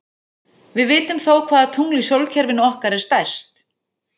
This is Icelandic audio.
Við vitum þó hvaða tungl í sólkerfinu okkar er stærst.